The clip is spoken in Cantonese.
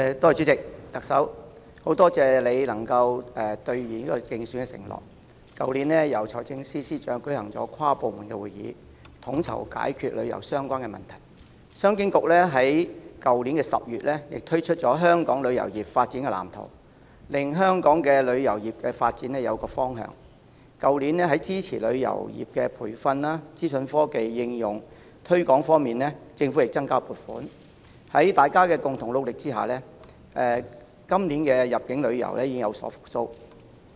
主席，很多謝特首能夠兌現競選承諾，在去年由財政司司長召開跨部門會議，統籌解決與旅遊相關的問題；商務及經濟發展局在去年10月亦推出了《香港旅遊業發展藍圖》，令香港的旅遊業發展有一個方向；去年在支持旅遊業培訓及資訊科技應用推廣方面，政府亦增加了撥款；在大家共同努力下，今年入境旅遊業已見復蘇。